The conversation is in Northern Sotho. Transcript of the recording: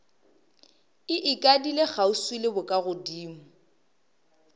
e ikadile kgauswi le bokagodimo